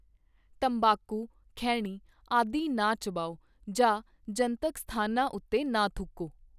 ਤੰਬਾਕੂ, ਖੈਣੀ ਆਦਿ ਨਾ ਚਬਾਓ ਜਾਂ ਜਨਤਕ ਸਥਾਨਾਂ ਉੱਤੇ ਨਾ ਥੁੱਕੋ।